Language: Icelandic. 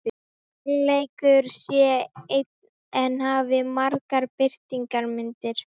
Kærleikurinn sé einn en hafi margar birtingarmyndir